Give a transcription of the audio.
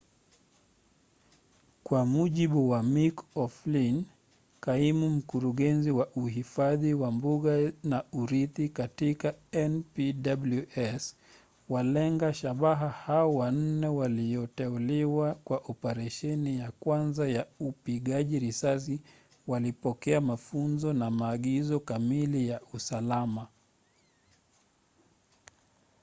kwa mujibu wa mick o'flynn kaimu mkurugenzi wa uhifadhi wa mbuga na urithi katika npws walenga shabaha hao wanne walioteuliwa kwa operesheni ya kwanza ya upigaji risasi walipokea mafunzo na maagizo kamili ya usalama